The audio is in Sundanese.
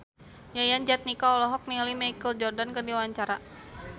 Yayan Jatnika olohok ningali Michael Jordan keur diwawancara